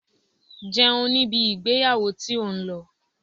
Jẹun ní ibi ìgbéyàwó tí ò ń lọ!